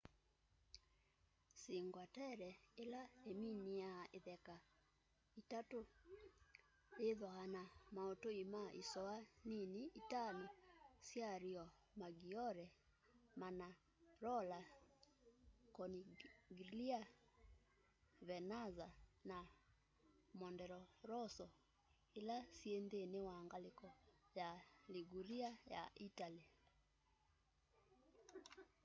cinque terre ila iminia itheka itatu yithwaa na mautui ma isoa nini itano sya riomaggiore manarola corniglia vernazza na monterosso ila syi nthini wa ngaliko ya liguria ya itali